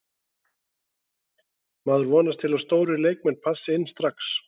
Maður vonast til að stórir leikmenn passi inn strax.